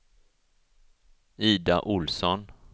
Ida Ohlsson